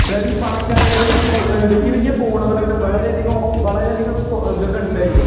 അതായത് ഈ പണക്കാരെ, അതായത് വലിയ വലിയ ഫോണുകളൊക്കെ വളരെയധികം, വളരെയധികം ഇതൊക്കെ ഉണ്ട് അതില്